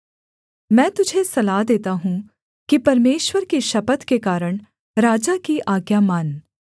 मैं तुझे सलाह देता हूँ कि परमेश्वर की शपथ के कारण राजा की आज्ञा मान